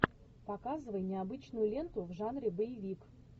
показывай необычную ленту в жанре боевик